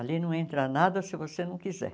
Ali não entra nada se você não quiser.